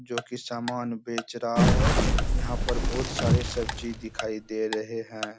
जो कि सामान बेच रहा है यहाँ पर बहुत सारे सब्जी दिखाई दे रहें हैं।